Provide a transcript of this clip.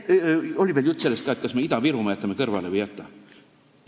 Oli juttu ka sellest, kas me Ida-Virumaa jätame kõrvale või ei jäta.